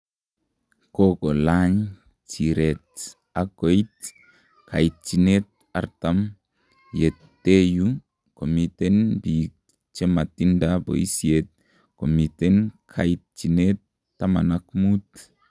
Kokolany chiret ak koit kaitchinet 40 yuteyu komiten biik chematinda boisiet komiten kaitchinet 15